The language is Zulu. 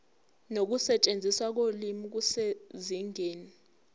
nokusetshenziswa kolimi kusezingeni